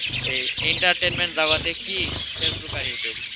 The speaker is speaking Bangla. এই entertainment জগতে কি ফেসবুক আর ইউটিউব,